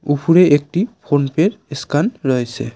উপরে একটি ফোন পেয়ের এস্ক্যান রয়েছে।